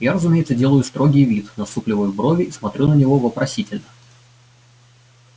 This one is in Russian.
я разумеется делаю строгий вид насупливаю брови и смотрю на него вопросительно